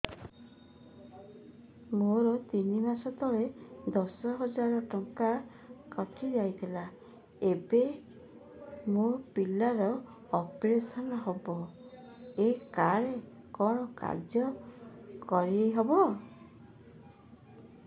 ମୋର ତିନି ମାସ ତଳେ ଦଶ ହଜାର ଟଙ୍କା କଟି ଯାଇଥିଲା ଏବେ ମୋ ପିଲା ର ଅପେରସନ ହବ ଏ କାର୍ଡ କଣ କାର୍ଯ୍ୟ କାରି ହବ